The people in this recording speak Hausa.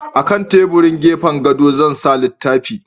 A kan teburin gefen gadon Zan sa fitila